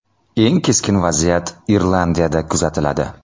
Eng keskin vaziyat Irlandiyada kuzatiladi.